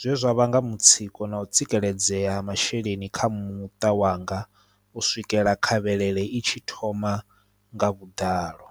zwezwa vhanga mutsiko na u tsikeledzea ha masheleni kha muṱa wanga u swikela khavhalele i tshi thoma nga vhuḓalo.